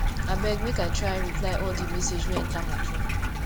abeg make i try reply all di message wey enta my phone